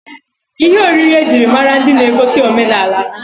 Ihe oriri ejiri mara ndi na-egosi omenala ha.